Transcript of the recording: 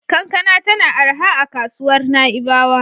Kankana tana arha a kasuwar Na'ibawa.